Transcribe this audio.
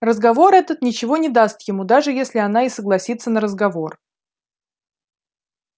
разговор этот ничего не даст ему даже если она и согласится на разговор